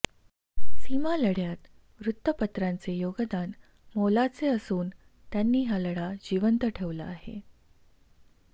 सीमा लढ्यात वृत्तपत्रांचे योगदान मोलाचे असून त्यांनी हा लढा जिवंत ठेवला आहे